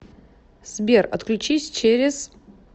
сбер отключись через